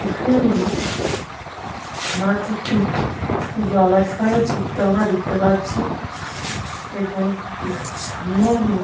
এখানে আমরা একটি জলাশয়ের চিত্র আমরা দেখতে পাচ্ছি এবং সামনেই আমরা।